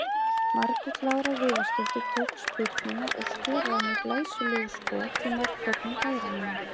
Margrét Lára Viðarsdóttir tók spyrnuna og skoraði með glæsilegu skot í markhornið hægra megin.